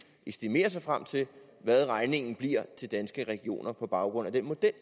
estimere sig frem til hvad regningen bliver til danske regioner på baggrund af den model